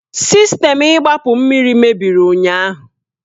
Sistemu igbapu mmiri mebiri ụnyahụ.